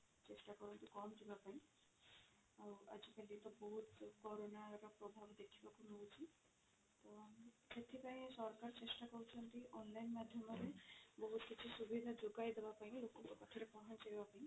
ଚେଷ୍ଟା କରନ୍ତୁ ପହଞ୍ଚିବା ପାଇଁ ଆଉ ଆଜି କା date ରେ ବହୁତ କରୋନାର ପ୍ରଭାବ ଦେଖିବାକୁ ମିଳୁଛି ତ ସେଥିପାଇଁ ସରକାର ଚେଷ୍ଟା କରୁଛନ୍ତି online ମାଧ୍ୟମରେ ବହୁତ କିଛି ସୁବିଧା ଯୋଗାଇ ଦେବା ପାଇଁ ବି ଲୋକଙ୍କ ପାଖରେ ପହଞ୍ଚିବା ପାଇଁ